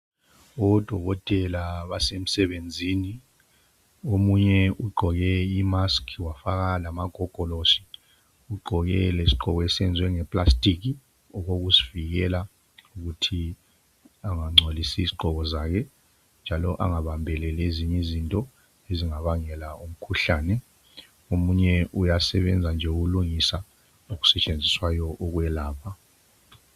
Odokotela basemsebenzini omunye ugqoke imusk wafaka lamagogolosi ugqoke isigqoko esenziwe ngephepha okokuzivikela ukuthi engangcolisi izigqoko zakhe njalo angabambeleli ezinye izinto ezingabangela umkhuhlane omunye uyasebenza nje ukulungisa okusetshenziswayo ukwelapha.